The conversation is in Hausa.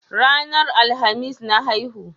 Ranar Alhamis na haihu.